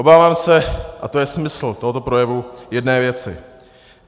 Obávám se, a to je smysl tohoto projevu, jedné věci.